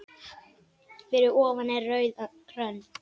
Fyrir ofan er rauð rönd.